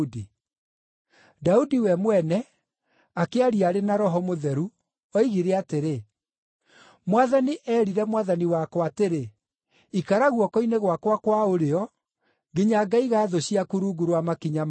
Daudi we mwene, akĩaria arĩ na Roho Mũtheru, oigire atĩrĩ: “ ‘Mwathani eerire Mwathani wakwa atĩrĩ: “ikara guoko-inĩ gwakwa kwa ũrĩo nginya ngaiga thũ ciaku rungu rwa makinya maku.” ’